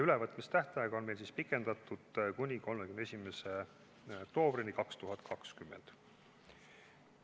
Ülevõtmistähtaega on pikendatud kuni 31. oktoobrini 2020.